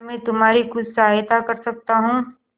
क्या मैं तुम्हारी कुछ सहायता कर सकता हूं